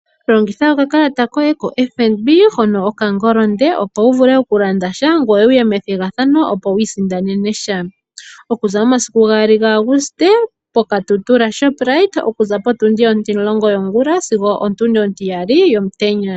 Longitha okakalata koye koFNB hono o Kohongoli, opo wu vule okulanda sha ngoye wu ye methigathano, opo wi isindanene sha, okuza momasiku 2 gaAuguste poKatutura shoprite okuza potundi onti-10 yongula sigo otundi onti-2 yomutenya.